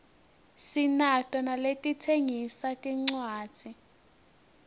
sinato naletitsengisa tincuadzi